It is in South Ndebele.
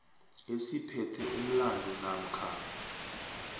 esiphethe umlandu namkha